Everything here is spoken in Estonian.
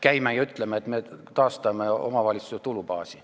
Käime ringi ja ütleme, et me taastame omavalitsuste tulubaasi.